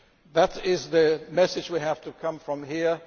That is the message that has to come from here.